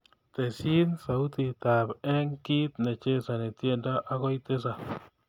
Tesyi sautitab eng kiit nechesani tyendo agoi tisap